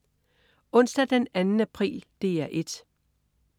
Onsdag den 2. april - DR 1: